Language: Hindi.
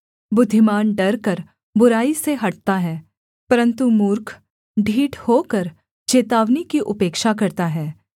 बुद्धिमान डरकर बुराई से हटता है परन्तु मूर्ख ढीठ होकर चेतावनी की उपेक्षा करता है